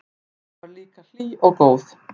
Amma var líka hlý og góð.